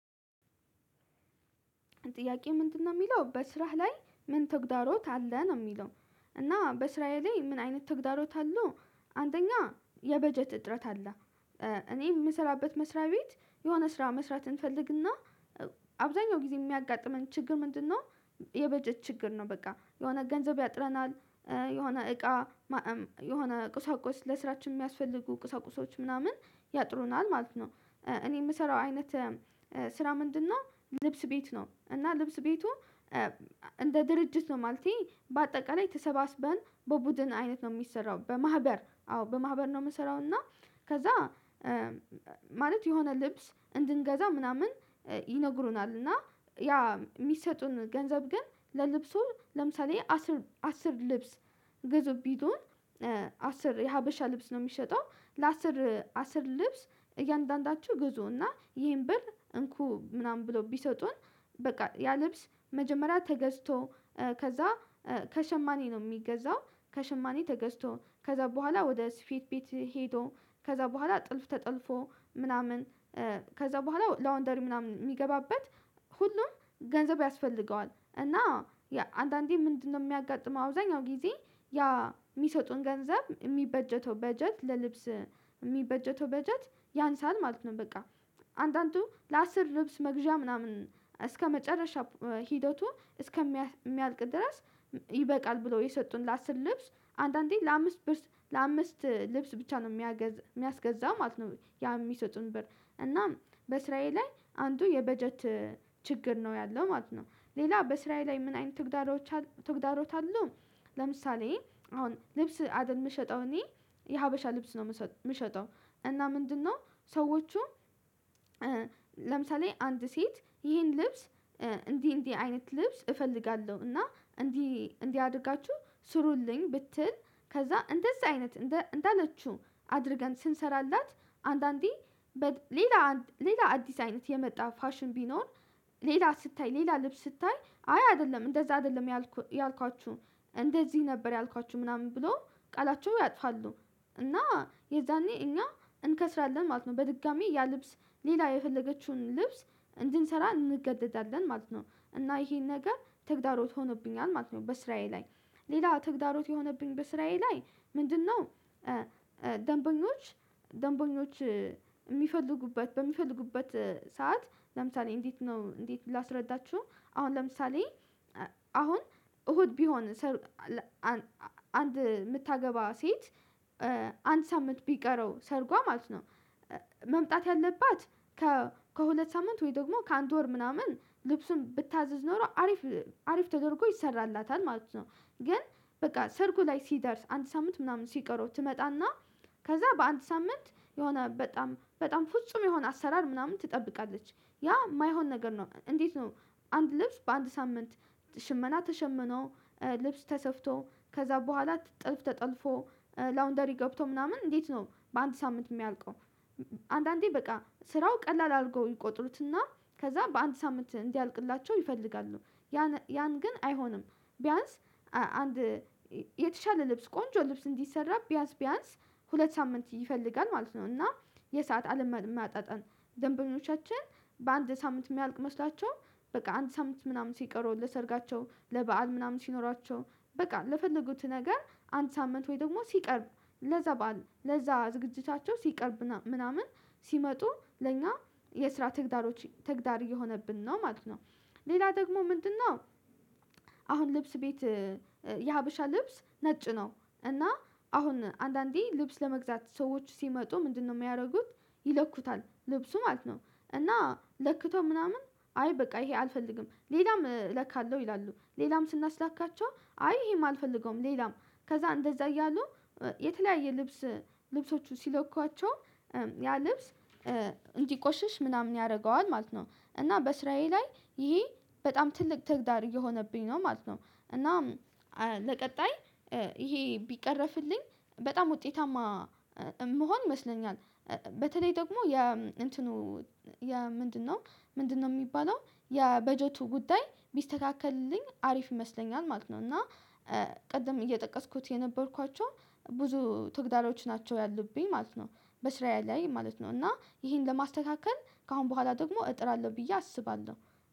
ጥያቄ ምንድነው የሚለው በስራህ ላይ ምን ተግዳሮት አለ ነው የሚለው? እና በስራዬ ላይ ምን አይነት ተግዳሮት አሉ? አንደኛ የበጀት እጥረት አለ። እኔ የምሰራበት መስሪያ ቤት የሆነ ስራ መስራት እንፈልግና አብዛኛው ጊዜ የሚያጋጥመን ችግር ምንድነው? የበጀት ችግር ነው በቃ የሆነ ገንዘብ ያጥረናል። የሆነ እቃ ማዕም የሆነ ቁሳቁስ ለስራችን የሚያስፈልጉ ቁሳቁሶች ምናምን ያጥሩናል ማለት ነው። እኔ የምሰራው አይነት ስራ ምንድነው? ልብስ ቤት ነው። እና ልብስ ቤቱ እንደ ድርጅት ነው ማለቴ በአጠቃላይ ተሰባስበን በቡድን አይነት ነው የሚሰራው በማህበር አዎ በማህበር ነው የምሰራው። እና ከዛ ማለት የሆነ ልብስ እንድንገዛ ምናምን ይነግሩናል እና ያ የሚሰጡን ገንዘብ ግን ለልብሱ ለምሳሌ አስር አስር ልብስ። ግዙ ቢሉን አስር የሀበሻ ልብስ ነው የሚሸጠው ለአስር አስር ልብስ እያንዳንዳቹ ግዙ። እና ይሄን ብር እንኩ ምናምን ብለው ቢሰጡን በቃ ያ ልብስ መጀመሪያ ተገዝቶ። ከዛ ከሸማኔ ነው የሚገዛው ከሽማኔ ተገዝቶ ከዛ በኋላ ወደ ስፌት ቤት ሄዶ ከዛ በኋላ ጥልፍ ተጠልፎ ምናምን። ከዛ በኋላ ላውንደሪ ምናምን የሚገባበት ሁሉም ገንዘብ ያስፈልገዋል። እና አንዳንዴ ምንድነው? የሚያጋጥመው አብዛኛው ጊዜ ያ የሚሰጡን ገንዘብ የሚበጀተው በጀት ለልብስ የሚበጀተው በጀት ያንሳል ማለት ነው። በቃ አንዳንዱ ለአስር ልብስ መግዣ ምናምን እስከመጨረሻ ሂደቱ እስከሚያልቅ ድረስ ይበቃል ብለው የሰጡን ለአስር ልብስ አንዳንዴ ለአምስት ልብስ ለአምስት ልብስ ብቻ ነው የሚያስገዛ ማለት ነው። ያ የሚሰጡን ብር እና በስራዬ ላይ አንዱ የበጀት ችግር ነው ያለው ማለት ነው። ሌላ በስራዬ ላይ ምን አይነት ተግዳሮች ተግዳሮት አሉ? ለምሳሌ አሁን ልብስ አይደል የምሸጠው እኔ የሀበሻ ልብስ ነው የምሸጠው። እና ምንድነው? ሰዎቹ ለምሳሌ አንድ ሴት ይሄን ልብስ እንዲህ እንዲህ አይነት ልብስ እፈልጋለሁ እና እንዲህ እንዲህ አድርጋችሁ ስሩልኝ ብትል ከዛ እንደዛ አይነት እንዳለችው አድርገን ስንሰራላት አንዳንዴ ሌላ ሌላ አዲስ አይነት የመጣ ፋሽን ቢኖር ሌላ ስታይ ሌላ ልብስ ስታይ አይ አይደለም እንደዛ አይደለም ያልኳችሁ እንደዚህ ነበር ያልኳችሁ ምናምን ብሎ ቃላቸው ያጥፋሉ እና የዛኔ እኛ እንከስራለን ማለት ነው። በድጋሚ ያ ልብስ ሌላ የፈለገችውን ልብስ እንድንሰራ እንገደዳለን ማለት ነው። እና ይሄን ነገር ተግዳሮት ሆኖብኛል ማለት ነው። በስራዬ ላይ ሌላ ተግዳሮት የሆነብኝ በስራዬ ላይ ምንድነው? ደንበኞች ደንበኞች የሚፈልጉበት በሚፈልጉበት ሰዓት ለምሳሌ እንዴት ነው እንዴት ላስረዳችሁ አሁን ለምሳሌ አሁን እሁድ ቢሆን ሰርግ አንድ የምታገባ ሴት አንድ ሳምንት ቢቀረው ሰርጓ ማለት ነው። መምጣት ያለባት ከሁለት ሳምንት ወይ ደግሞ ከአንድ ወር ምናምን ልብሱን ብታዝዝ ኖሮ አሪፍ አሪፍ ተደርጎ ይሰራላታል ማለት ነው። ግን በቃ ሰርጉ ላይ ሲደርስ አንተ ሳምንት ምናምን ሲቀረው ትመጣና ከዛ በአንድ ሳምንት የሆነ በጣም በጣም ፍጹም የሆነ አሰራር ምናምን ትጠብቃለች ያ የማይሆን ነገር ነው። እንዴት ነው? አንድ ልብስ በአንድ ሳምንት ሽመና ተሸምኖ ልብስ ተሰፍቶ ከዛ በኋላ ጥልፍ ተጠልፎ ላውንደሪ ገብቶ ምናምን እንዴት ነው በአንድ ሳምንት የሚያልቀው? አንዳንዴ በቃ ስራው ቀላል አድርገው ይቆጥሩትና ከዛ በአንድ ሳምንት እንዲያልቅላቸው ይፈልጋሉ። ያን ግን አይሆንም። ቢያንስ አንድ የተሻለ ልብስ ቆንጆ ልብስ እንዲሰራ ቢያንስ ቢያንስ ሁለት ሳምንት ይፈልጋል ማለት ነው። እና የሰዓት አለመመጣጠን ደንበኞቻችን በአንድ ሳምንት የሚያልቅ መስሏቸው በቃ አንድ ሳምንት ምናምን ሲቀሩ ለሰርጋቸው ለበአል ምናምን ሲኖራቸው በቃ ለፈለጉት ነገር አንድ ሳምንት ወይ ደግሞ ሲቀርብ ለዛ በዓል ለዛ ዝግጅቻቸው ሲቀርብ ምናምን ሲመጡ ለኛ የስራ ተግዳሮች ተግዳር እየሆነብን ነው ማለት ነው። ሌላ ደግሞ ምንድነው? አሁን ልብስ ቤት የሀበሻ ልብስ ነጭ ነው እና አሁን አንዳንዴ ልብስ ለመግዛት ሰዎች ሲመጡ ምንድነው የሚያደርጉት? ይለኩታል ልብሱ ማለት ነው። እና ለክቶ ምናምን አይ በቃ ይሄ አልፈልግም ሌላም እለካለሁ ይላሉ ሌላም ስናስላካቸው አይ ይሄም አልፈልገውም ሌላም ከዛ እንደዛ እያሉ የተለያየ ልብስ ልብሶቹ ሲለኳቸው ያ ልብስ እንዲቆሸሽ ምናምን ያደርገዋል ማለት ነው። እና በስራዬ ላይ ይሄ በጣም ትልቅ ተግዳር እየሆነብኝ ነው ማለት ነው። እና ለቀጣይ ይሄ ቢቀረፍልኝ በጣም ውጤታማ የምሆን ይመስለኛል። በተለይ ደግሞ የ እንትኑ የ ምንድነው? ምንድነው የሚባለው? የበጀቱ ጉዳይ ቢስተካከልልኝ አሪፍ ይመስለኛል ማለት ነው። እና ቅድም እየጠቀስኩት የነበርኳቸው ብዙ ትግዳሮች ናቸው ያሉብኝ ማለት ነው። በስራዬ ላይ ላይ ማለት ነው እና ይሄን ለማስተካከል ከአሁን በኋላ ደግሞ እጥራለሁ ብዬ አስባለሁ።